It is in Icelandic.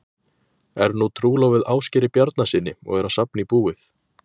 Er nú trúlofuð Ásgeiri Bjarnasyni og er að safna í búið.